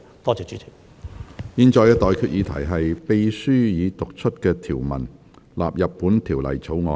我現在向各位提出的待決議題是：秘書已讀出的條文納入本條例草案。